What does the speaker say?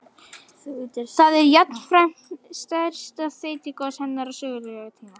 Það er jafnframt stærsta þeytigos hennar á sögulegum tíma.